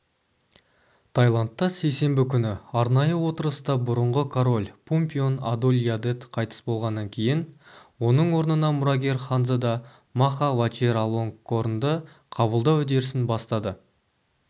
таиландта сейсенбі күні арнайы отырыста бұрынғы король пумпион адульядет қайтыс болғаннан кейін оның орнына мұрагер ханзада маха вачиралонгкорнды қабылдау үдерісін бастады